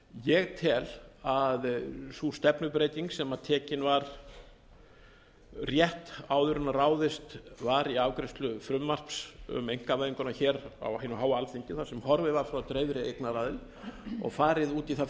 ég tel að sú stefnubreyting sem tekin var rétt áður en ráðist var í afgreiðslu frumvarps um einkavæðinguna á hinu háa alþingi þar sem horfið var frá dreifðri eignaraðild og farið út í það